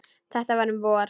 Þetta var um vor.